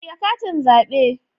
Ajiye katin zabe